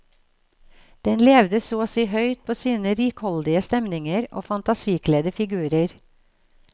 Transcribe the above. Den levde så å si høyt på sine rikholdige stemninger og fantasikledde figurer.